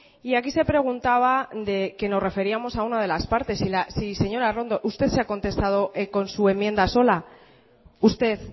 y aquí se preguntaba que nos referíamos a una de las partes sí señora arrondo usted se ha contestado con su enmienda sola usted